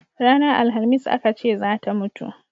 Ranar alhamis a Ka ce zata mutu